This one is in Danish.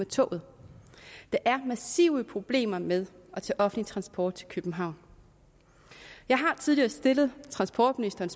toget der er massive problemer med at tage offentlig transport til københavn jeg har tidligere stillet transportministeren